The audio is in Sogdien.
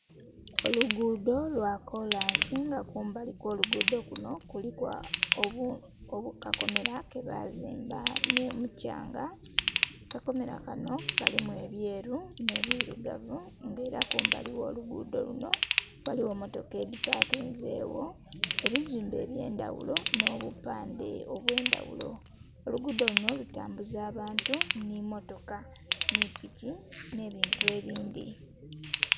Olugudho lwa kolansi nga kumbali kwo lugudho kunho kuliku akakomera kebazimba nho omukyanga, akakomera kanho kalimu ebyeru nhe birugavu nga era kumbali gho lugudho lunho ghaligho motoka edhi pakinzegho, ebizimbe ebye ndhaghulo nho obupandhe obwe ndhaghulo. Olugudho lunho kutambuza abantu nhi motoka nhi piki nhe bintu ebindhi.